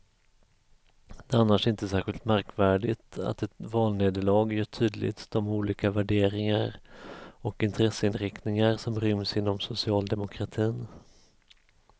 Det är annars inte särskilt märkvärdigt att ett valnederlag gör tydligt de olika värderingar och intresseinriktningar som ryms inom socialdemokratin.